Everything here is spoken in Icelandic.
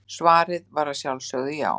Svarið var að sjálfsögðu já.